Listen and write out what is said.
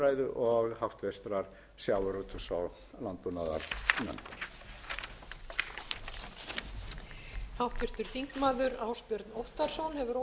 forseti að lokinni þessari umræðu legg ég til að frumvarpinu verði vísað til annarrar umræðu og háttvirtur sjávarútvegs og landbúnaðarnefndar